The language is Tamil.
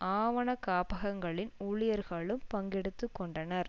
ஆவணக்காப்பகங்களின் ஊழியர்களும் பங்கெடுத்து கொண்டனர்